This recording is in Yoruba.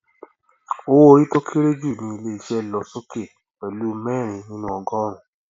owó orí tó kéré jù ní ilé iṣẹ lọ sókè pẹlú mẹrin nínuu ogọrùnún